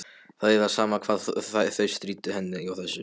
Það var sama hvað þau stríddu henni á þessu.